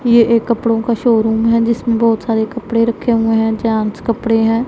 ये एक कपड़ों का शोरूम है जिसमें बहुत सारे कपड़े रखे हुए हैं जॉन्स कपड़े हैं।